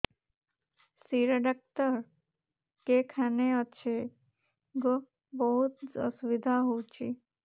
ଶିର doctor କେଖାନେ ଅଛେ ଗୋ ବହୁତ୍ ଅସୁବିଧା ହଉଚି